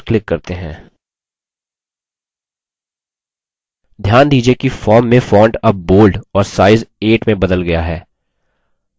ध्यान दीजिये कि form में font अब bold और size 8 में बदल गया है